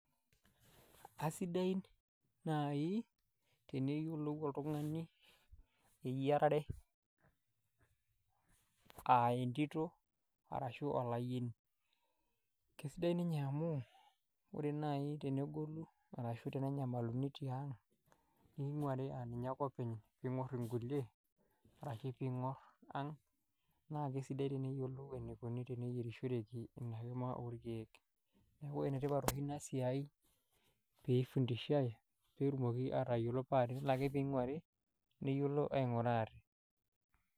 Asidain naai teneyiolou oltung'ani eyiarare uh entito arashu olayieni kesidai ninye amu ore naai tenegolu arashu tenenyamaluni tiang neing'uari aninye ake openy ping'orr inkulie arashi ping'orr ang naa kesidai teneyiolou enikoni teneyierishoreki ina kima orkiek neeku enetipat oshi ina siai peifundishae petumoki atayiolo paa tenelo ake peing'uari neyiolo aing'ura ate.